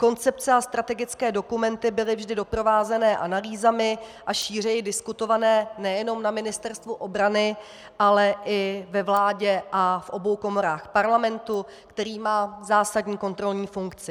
Koncepce a strategické dokumenty byly vždy doprovázeny analýzami a šířeji diskutované nejenom na Ministerstvu obrany, ale i ve vládě a v obou komorách Parlamentu, který má zásadní kontrolní funkci.